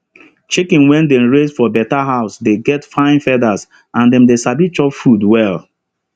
chicken wey dem raise for better house dey get fine feathers and them they sabi chop food well